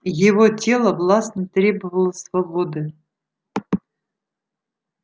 его тело властно требовало свободы